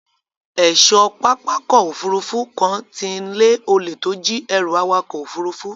Ẹ̀ṣọ́ pápákọ̀ òfurufú kan ti ń lé olè tó jí ẹrù awakọ̀ òfurufú.